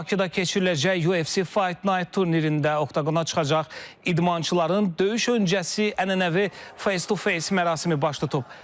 Bakıda keçiriləcək UFC Fight Night turnirində oktqona çıxacaq idmançıların döyüş öncəsi ənənəvi face-to-face mərasimi baş tutub.